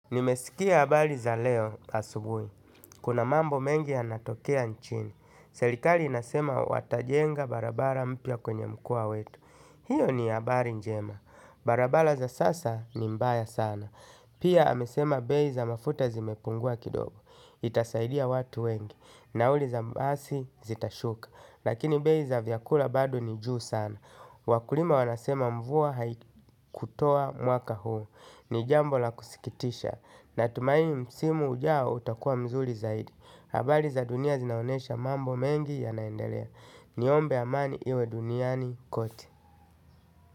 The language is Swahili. Nimesikia abali za leo asubui. Kuna mambo mengi ya natokea nchini. Selikali inasema watajenga barabara mpia kwenye mkoa wetu. Hiyo ni habari njema. Barabara za sasa ni mbaya sana. Pia amesema bei za mafuta zimepungua kidogo. Itasaidia watu wengi. Nauli za basi zitashuka. Lakini bei za vyakula bado ni juu sana. Wakulima wanasema mvua haikutoa mwaka huu. Ni jambo la kusikitisha. Natumaini msimu ujao utakua mzuri zaidi. Habari za dunia zinaonesha mambo mengi yanaendelea. Ni ombe amani iwe duniani kote.